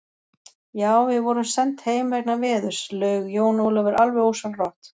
Já, við vorum send heim vegna veðurs, laug Jón Ólafur alveg ósjálfrátt.